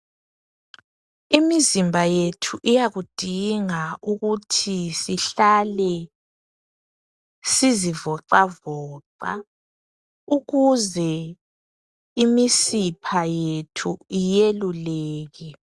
Imizimba yethu iyakudinga ukuthi sihlale sizivoxavoxa ukuze imisipha yethu iyeluleke.